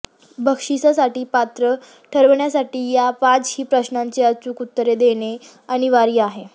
बक्षीसासाठी पात्र ठरण्यासाठी या पाचही प्रश्नांची अचूक उत्तरे देणे अनिवार्य आहे